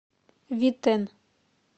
витэн